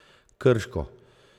Krško.